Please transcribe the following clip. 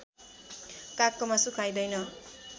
कागको मासु खाइँदैन